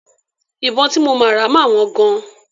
Ìbọn tí mo máa rà máa wọ́n gan.